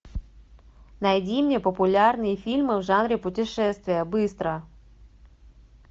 найди мне популярные фильмы в жанре путешествия быстро